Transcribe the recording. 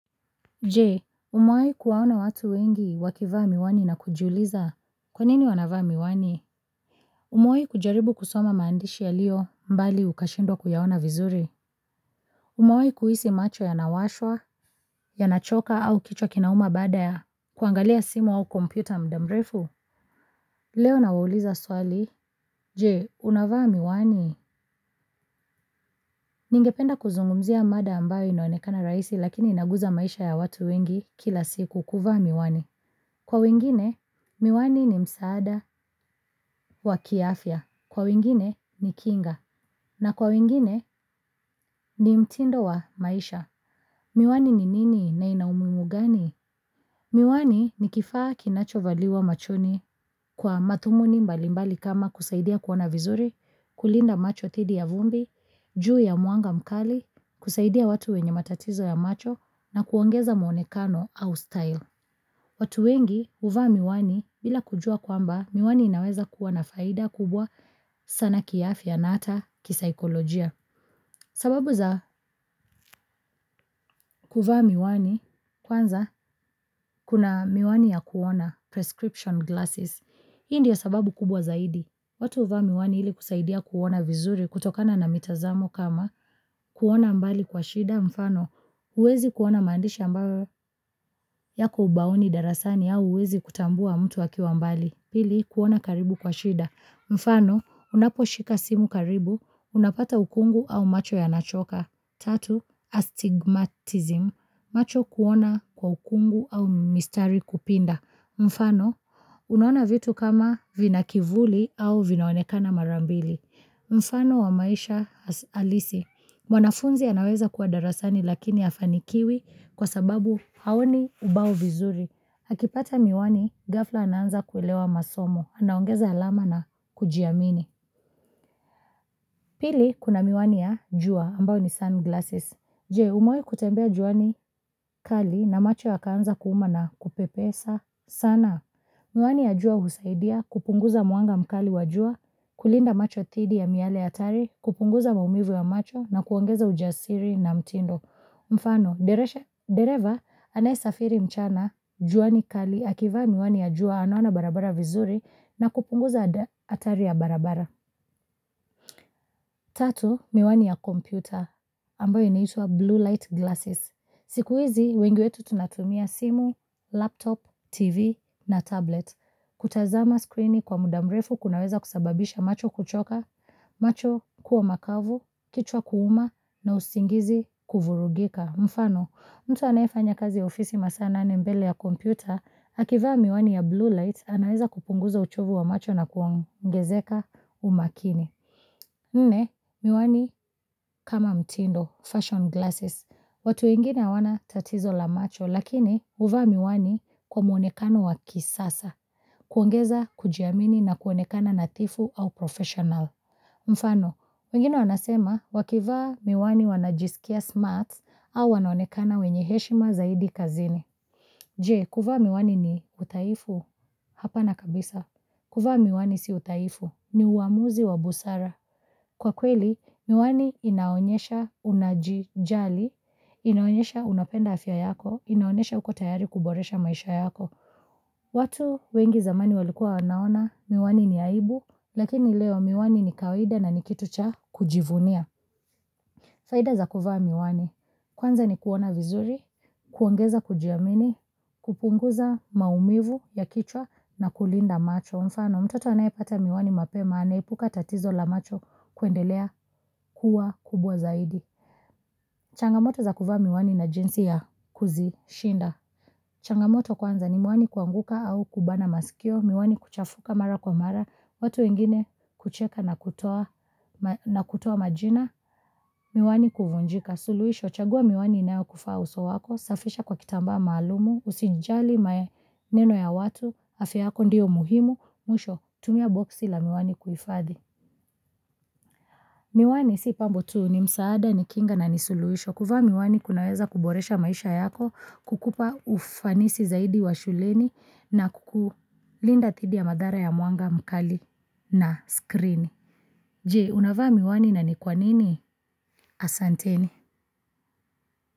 Je, umawahi kuwaona watu wengi wakivaa miwani na kujiuliza. Kwa nini wanavaa miwani? Umewahi kujaribu kusoma maandishi yaliyo mbali ukashindwa kuyaona vizuri? Umawahi kuhisi macho yanawashwa, yanachoka au kichwa kinauma baada ya kuangalia simu au kompyuta muda mrefu. Leo nawauliza swali. Je, unavaa miwani? Ningependa kuzungumzia mada ambayo inaonekana rahisi lakini inaguza maisha ya watu wengi kila siku kuvaa miwani. Kwa wengine, miwani ni msaada wa kiafya kwa wengine ni kinga, na kwa wengine ni mtindo wa maisha. Miwani ni nini na ina umuhimu gani? Miwani ni kifaa kinachovaliwa machoni kwa mathumuni mbalimbali kama kusaidia kuona vizuri, kulinda macho dhidi ya vumbi, juu ya mwanga mkali, kusaidia watu wenye matatizo ya macho, na kuongeza mwonekano au style. Watu wengi huvaa miwani bila kujua kwamba miwani inaweza kuwa na faida kubwa sana kiafya na ata kisaikolojia sababu za kuvaa miwani kwanza kuna miwani ya kuona prescription glasses. Hii ndio sababu kubwa zaidi. Watu huvaa miwani hili kusaidia kuona vizuri kutokana na mitazamo kama kuona mbali kwa shida mfano. Uwezi kuona maandishi ambayo yako ubaoni darasani au huwezi kutambua mtu akiwa mbali Pili, kuona karibu kwa shida. Mfano, unaposhika simu karibu, unapata ukungu au macho ya nachoka. Tatu, astigmatism. Macho kuona kwa ukungu au mistari kupinda. Mfano, unaona vitu kama vina kivuli au vinaonekana marambili. Mfano wa maisha halisi mwanafunzi anaweza kuwa darasani lakini hafanikiwi kwa sababu haoni ubao vizuri. Akipata miwani, Gafhla ananza kuilewa masomo. Anaongeza alama na kujiamini. Pili, kuna miwani ya jua ambayo ni sun glasses. Jee, umewahi kutembea juani kali na macho yakaanza kuuma na kupepesa sana. Miwani ya jua husaidia kupunguza mwanga mkali wajua, kulinda macho thidi ya miale hatari, kupunguza maumivu ya macho na kuongeza ujasiri na mtindo. Mfano, Dereva anayesafiri mchana, juani kali akiva miwani ya jua anawana barabara vizuri na kupunguza atari ya barabara. Tatu, miwani ya kompyuta ambayo inaitwa blue light glasses. Siku hizi, wengi wetu tunatumia simu, laptop, tv na tablet. Kutazama skrini kwa muda mrefu kunaweza kusababisha macho kuchoka, macho kuwa makavu, kichwa kuuma na usingizi kuvurugika Mfano, mtu anayefanya kazi ya ofisi masaa mbele ya kompyuta Akivaa miwani ya blue light, anaeza kupunguza uchovu wa macho na kuongezeka umakini Nne, miwani kama mtindo, fashion glasses watu wengine hawana tatizo la macho, lakini huvaa miwani kwa mwonekano wa kisasa kuongeza kujiamini na kuonekana nathifu au professional Mfano, wengine wanasema wakivaa miwani wanajisikia smarts au wanaonekana wenye heshima zaidi kazini. Je, kuvaa miwani ni uthaifu? Hapana kabisa. Kuvaa miwani si uthaifu ni uamuzi wa busara. Kwa kweli, miwani inaonyesha unajijali, inaonyesha unapenda afya yako, inaonyesha uko tayari kuboresha maisha yako. Watu wengi zamani walikua wanaona miwani ni aibu, lakini leo miwani ni kawaida na ni kitu cha kujivunia. Faida za kuvaa miwani, kwanza ni kuona vizuri, kuongeza kujiamini, kupunguza maumivu ya kichwa na kulinda macho. Mfano, mtoto anayepata miwani mapema, anaepuka tatizo la macho kuendelea kuwa kubwa zaidi. Changamoto za kuvaa miwani na jinsi ya kuzishinda. Changamoto kwanza ni miwani kuanguka au kubana masikio, miwani kuchafuka mara kwa mara, watu wengine kucheka na kutoa majina, miwani kuvunjika, suluhisho, chagua miwani inayokufaa uso wako, safisha kwa kitambaa maalum, usijali maneno ya watu, afya yako ndiyo muhimu, mwisho, tumia boxi la miwani kuhifadhi. Miwani si pambo tu ni msaada, ni kinga na ni suluisho. Kuvaa miwani kunaeza kuboresha maisha yako kukupa ufanisi zaidi wa shuleni na kukulinda dhidi ya madhara ya mwanga mkali na skrini. Je, unavaa miwani na ni kwa nini asanteni?